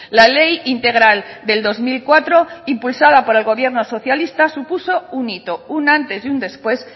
la ley integral del dos mil cuatro impulsada por el gobierno socialista supuso un hito un antes y un después